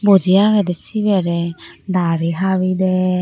Bouji agede siberey daari habi derr.